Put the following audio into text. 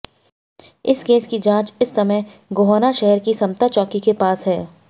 इस केस की जांच इस समय गोहाना शहर की समता चौकी के पास है